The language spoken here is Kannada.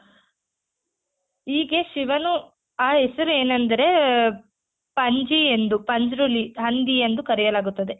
ಹೀಗೆ ಶಿವನು ಆ ಹೆಸರು ಏನೆಂದರೆ ಪಂಜಿ ಎಂದು ಪಂಜುರ್ಲಿ ಹಂದಿ ಎಂದು ಕರೆಯಲಾಗುತ್ತದೆ.